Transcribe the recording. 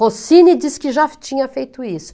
Rossini diz que já tinha feito isso.